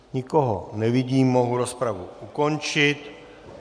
Nikoho nevidím, mohu rozpravu ukončit.